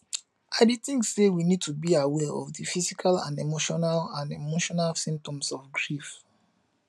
i dey think say we need to be aware of di physical and emotinal and emotinal symptoms of grief